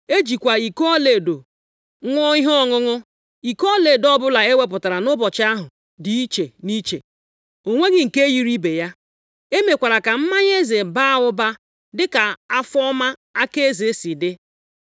E jikwa iko ọlaedo ṅụọ ihe ọṅụṅụ. Iko ọlaedo ọbụla e wepụtara nʼụbọchị ahụ dị iche nʼiche. O nweghị nke yiri ibe ya. E mekwara ka mmanya eze baa ụba dịka afọ ọma aka eze si dị.